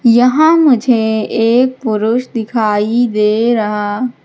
यहां मुझे एक पुरुष दिखाई दे रहा--